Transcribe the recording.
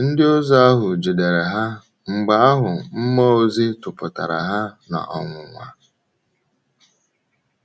Ndịozi ahụ jidere ha, mgbe ahụ mmụọ ozi tụpụtara ha n’ọnwụnwa.